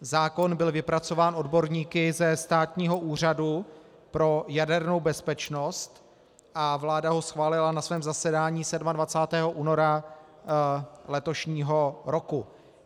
Zákon byl vypracován odborníky ze Státního úřadu pro jadernou bezpečnost a vláda ho schválila na svém zasedání 27. února letošního roku.